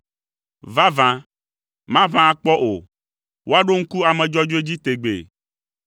Vavã, maʋã akpɔ o; woaɖo ŋku ame dzɔdzɔe dzi tegbee.